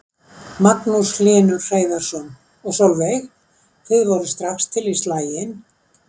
Magnús Hlynur Hreiðarsson: Og Sólveig, þið voruð strax til í slaginn?